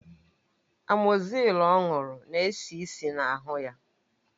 Amozil ọ ṅụrụ na-esi ísì na ahụ ya